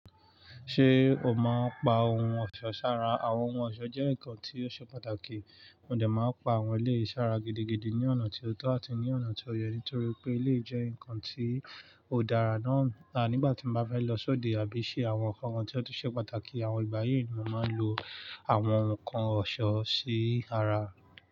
Ṣé o máa ń pa ohun ọ̀ṣọ́ sára? Àwọn ohun ọ̀ṣọ́ jẹ́ nǹkan tió ṣe pàtàkì. Mo dà má ń pa àwọn eléyi sára gidigidi ní ọ̀nà tí ó tọ́ àti ní ọ̀nà tí ó yẹ ní torí pé eléyi jẹ́ nǹkan ti ó dára náà. Nígbà tí mo bá fẹ́ lọ sóde àbí ṣe àwọn nǹkan tí ó ṣe pàtàkì àwọn ìgbà yi ni mo màá ń lo àwọn nǹkan ọ̀ṣọ́ sí ara.